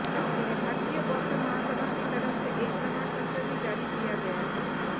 इन्हें भारतीय बौद्ध महासभा की तरफ से एक प्रमाण पत्र भी जारी किया गया है